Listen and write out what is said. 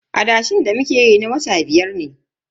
Adashen da muke yi na wata biyar ne.